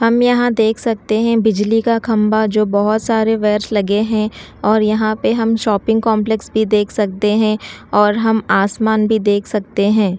हम यहां देख सकते हैं बिजली का खंबा जो बहोत सारे वायर्स लगे हैं और यहां पे हम शॉपिंग कॉम्पलेक्स भी देख सकते हैं और हम आसमान भी देख सकते हैं।